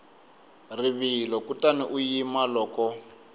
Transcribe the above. rivilo kutani u yima loko